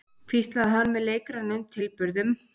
hvíslaði hann með leikrænum tilburðum.